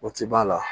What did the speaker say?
O ti ban